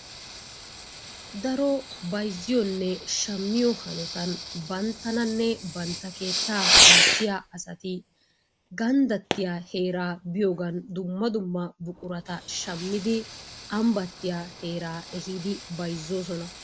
Daro bayzziyonne shammiyo hanotan banttananne bantta keettaa ayssiya asati ganddattiya heeraa biyogan dumma dumma buquraata shammidi ambbattiya heeraa ehiidi bayzzoosona.